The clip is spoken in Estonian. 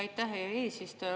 Aitäh, hea eesistuja!